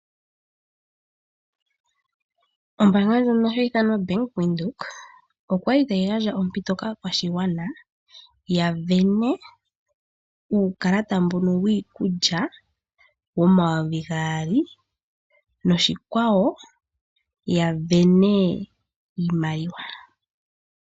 Ombaanga ndjono ha yi ithanwa Bank Windhoek, okwa li ta yi gandja ompito kaakwashigwana ya vene uukalata mbono wii kulya wo mayovi gaali, noshikwawo ya vene iimaliwa.